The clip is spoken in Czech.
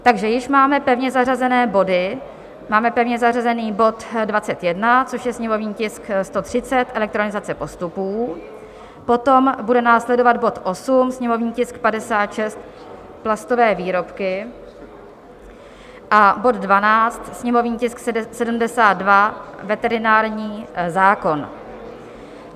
Takže již máme pevně zařazené body, máme pevně zařazený bod 21, což je sněmovní tisk 130 - elektronizace postupů, potom bude následovat bod 8, sněmovní tisk 56 - plastové výrobky, a bod 12, sněmovní tisk 72 - veterinární zákon.